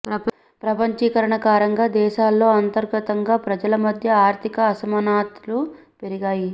ప్రపంచీకరణ కారణంగా దేశాల్లో అంతర్గతంగా ప్రజల మధ్య ఆర్థిక అసమానతలు పెరిగాయి